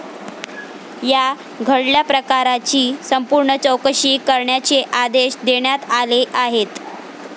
या घडल्या प्रकाराची संपूर्ण चौकशी करण्याचे आदेश देण्यात आले आहेत.